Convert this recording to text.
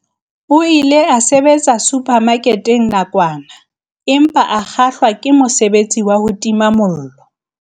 O ile a sebetsa suphamaketeng nakwana empa a kgahlwa ke mosebetsi wa ho tima mollo.